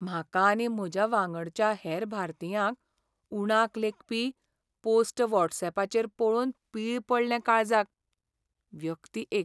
म्हाका आनी म्हज्या वांगडच्या हेर भारतीयांक उणाक लेकपी पोस्ट वॉट्सएपाचेर पळोवन पीळ पडले काळजाक. व्यक्ती एक